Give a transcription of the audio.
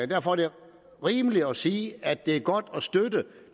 derfor er det rimeligt at sige at det er godt at støtte